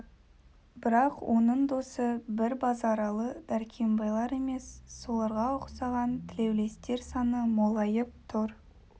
бірақ оның досы бір базаралы дәркембайлар емес соларға ұқсаған тілеулестер саны молайып тұр